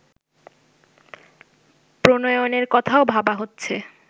প্রণয়নের কথাও ভাবা হচ্ছে